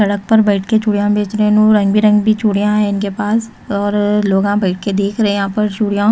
सड़क पर बैठ के चूड़ियाँ बेच रहे हैं इनो रंग बिरंगी चूड़ियाँ हैं इनके पास और लोग यहाँ बैठे के देख रहे हैं यहाँ पर चूड़ियाँओ --